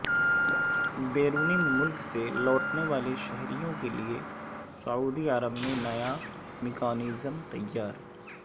بیرون ملک سے لوٹنے والے شہریوں کے لیے سعودی عرب میں نیا میکانزم تیار